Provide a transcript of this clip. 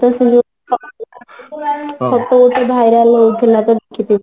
କଉଠି viral ହଉଥିଲା ଦେଖିଛି